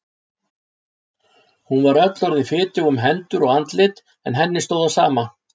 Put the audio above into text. Hún var öll orðin fitug um hendur og andlit en henni stóð á sama.